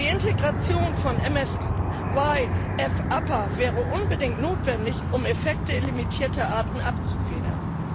Die Integration von MSY Fupper wäre unbedingt notwendig, um Effekte für limitierte Arten abzufedern.